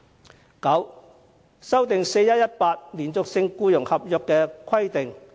第九，修訂 "4-1-18" 連續性僱傭合約的規定。